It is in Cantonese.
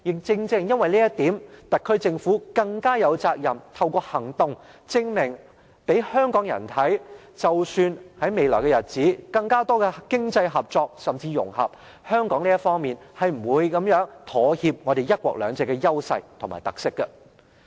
正正因為這一點，特區政府更加有責任，透過行動證明給香港人看，即使在未來日子有更多經濟合作甚至融合，但香港是不會妥協我們"一國兩制"的優勢和特色的。